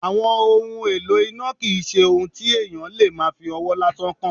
Àwọn ohun èlò iná kì í ṣe ohun tí èèyàn lè máa fí ọwọ́ lásán kan